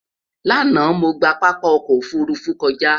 lànà, mọ gbà pápá ọkọ òfurufú kọja